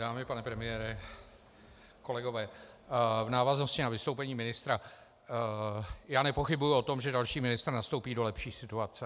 Dámy, pane premiére, kolegové, v návaznosti na vystoupení ministra - já nepochybuji o tom, že další ministr nastoupí do lepší situace.